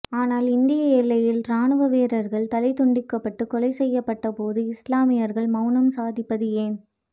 ஆனால் இந்திய எல்லையில் இராணுவ வீரர்கள் தலை துண்டிக்கப்பட்டு கொலை செய்யப்பட்ட போது இஸ்லாமியர்கள் மௌனம் சாதிப்பது ஏன்